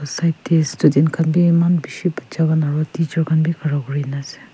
side student khan bhi eman bisi batcha khan aru teacher khan bhi khara kori kina ase.